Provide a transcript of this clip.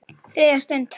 ÞRIÐJA STUND